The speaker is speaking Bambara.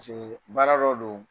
baara dɔ don